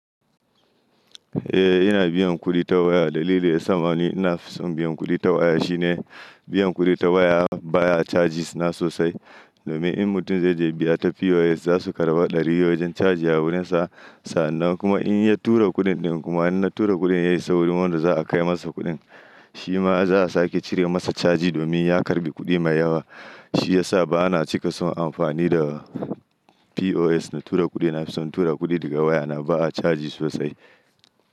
Eh, ina biyan kuɗi ta waya. Dalili yasa ma ni ina nafi son biyan kuɗi ta waya shine biyan kuɗi ta waya baya charges na sosai. Domin in mutum zai je biya ta POS za su karba ɗari wajen charge a wurinsa. Sa'annan kuma in ya tura kuɗin ɗin kuma in na tura kuɗin ya isa wurin wanda za a kai masa kuɗin. Shi ma za a sake cire masa charge domin ya karɓi kuɗi mai yawa. Shi yasa bana cika son amfani da POS na tura kuɗi. Nafison tura kuɗi daga wayana ba a charges sosai.